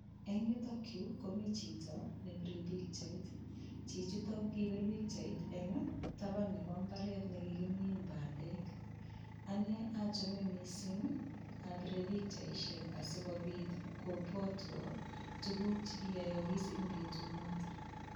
Eng' yutokyu komi chito nepirei pikchait chichito kokipir pikchait eng' taban nebo mbaret nekikimin bandek ane achome mising' apire pikchaishek asikobit kobwotwo tukuk chekiyoyokis eng' betunoto